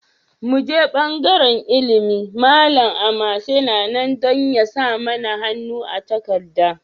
Mu je bangaren Ilimi, Malam Amase yana nan don ya sa mana hannu a takardar.